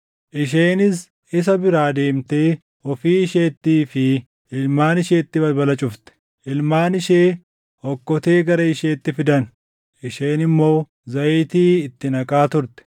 Isheenis isa biraa deemtee ofii isheettii fi ilmaan isheetti balbala cufte. Ilmaan ishee okkotee gara isheetti fidan; isheen immoo zayitii itti naqaa turte.